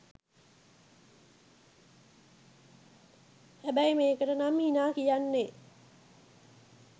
හැබැයි මේකට නම් හිනා කියන්නේ